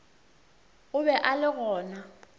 o be a le gona